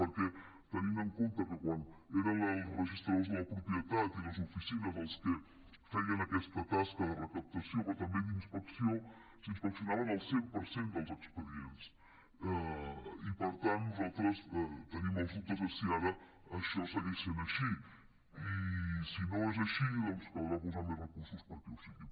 perquè tenint en compte que quan eren els registradors de la propietat i les oficines els que feien aquesta tasca de recaptació però també d’inspecció s’inspeccionaven el cent per cent dels expedients i nosaltres tenim els dubtes de si ara això segueix sent així i si no és així caldrà posar més recursos perquè ho sigui